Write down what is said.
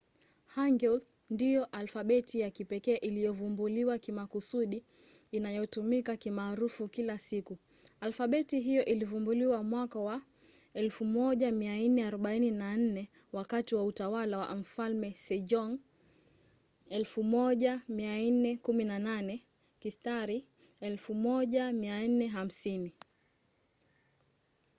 hangeul ndiyo alfabeti ya kipekee iliyovumbuliwa kimakusudi inayotumika kimaarufu kila siku. alfabeti hiyo ilivumbuliwa mwaka wa 1444 wakati wa utawala wa mfalme sejong 1418 – 1450